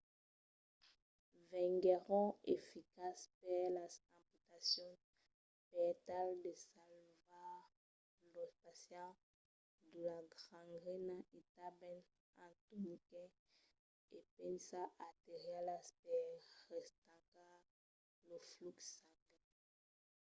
venguèron eficaces per las amputacions per tal de salvar los pacients de la gangrena e tanben en torniquets e pinças arterialas per restancar lo flux sanguin